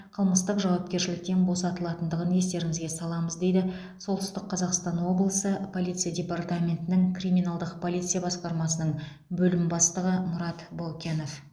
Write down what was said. қылмыстық жауапкершіліктен босатылатындығын естеріңізге саламыз дейді солтүстік қазақстан облысы полиция департаментінің криминалдық полиция басқармасының бөлім бастығы мұрат баукенов